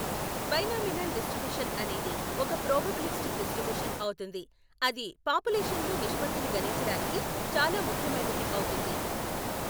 Binomial distribution అనేది ఒక probabilistic distribution అవుతుంది. అది పాపులేషన్లో నిష్పత్తిులు గణించడానికి చాలా ముఖ్యమైనది అవుతుంది.